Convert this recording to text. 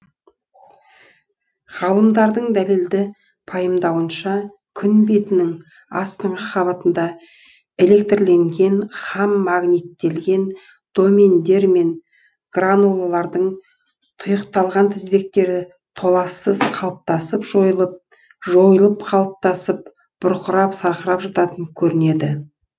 ғалымдардың дәлелді пайымдауынша күн бетінің астыңғы қабатында электрленген һәм магниттелген домендер мен гранулалардың тұйықталған тізбектері толассыз қалыптасып жойылып жойылып қалыптасып бұрқырап сарқырап жататын көрінеді